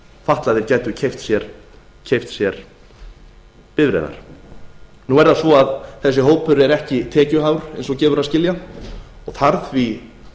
fatlaðir gætu keypt sér bifreiðar nú er það svo að þessi hópur er ekki tekjuhár eins og gefur að skilja og þarf því